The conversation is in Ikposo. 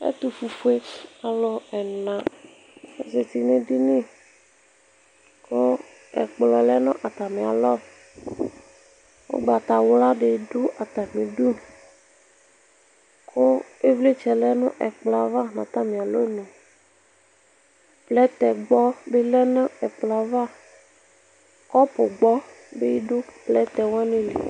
Ɛtufue alʋ ɛna azeti nʋ edini kʋ ɛkplɔ lɛnʋ atami alɔ ʋgbatawla didʋbatami idʋ kʋ ivlitsɛ lɛnʋ ɛkplɔ yɛ ava nʋ atami alɔnʋ plɛtɛ gbɔbi lɛnʋ ɛkplɔ yɛ ava kɔpugbɔ dibʋ plɛtɛ wani li